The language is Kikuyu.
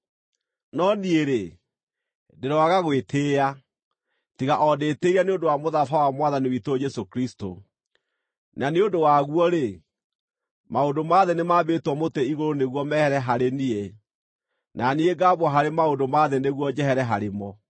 No niĩ-rĩ, ndĩroaga gwĩtĩĩa, tiga o ndĩtĩĩire nĩ ũndũ wa mũtharaba wa Mwathani witũ Jesũ Kristũ, na nĩ ũndũ waguo-rĩ, maũndũ ma thĩ nĩmambĩtwo mũtĩ-igũrũ nĩguo mehere harĩ niĩ, na niĩ ngaambwo harĩ maũndũ ma thĩ nĩguo njehere harĩ mo.